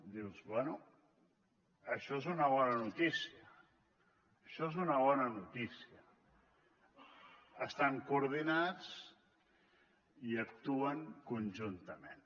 dius bé això és una bona notícia això és una bona notícia estan coordinats i actuen conjuntament